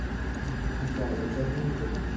પેલા એચઆર ને બધા સુ કરે